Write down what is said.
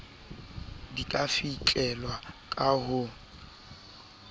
di ka fihlelwa ka ho